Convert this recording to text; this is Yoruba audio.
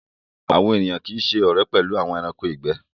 Awọn ènìyàn kíì ṣẹ ọ̀rẹ̀ pẹ̀lú awọn ẹ̀ránkò igbẹ̀